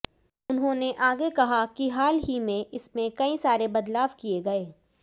उन्होंने आगे कहा किहाल ही में इसमें कई सारे बदलाव किए गए